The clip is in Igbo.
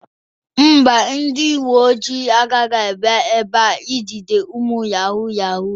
Mba, ndị uwe ojii agaghị abịa ebe a ijide ụmụ yahoo yahoo